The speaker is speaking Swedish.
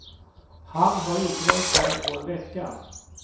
Han har inte varit här på en vecka.